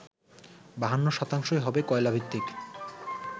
৫২ শতাংশই হবে কয়লাভিত্তিক